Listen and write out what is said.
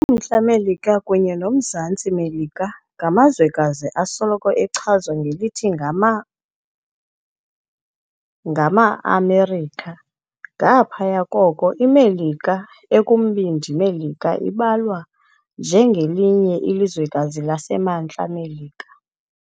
Umntla Melika kunye nomZantsi Melika ngamazwekazi asoloko echazwa ngelithi ngama "NgamaAmerika". Ngaphaya koko iMelika ekumbindi Melika ibalwa nje ngelinye ilizwekazi laseMntla Melika.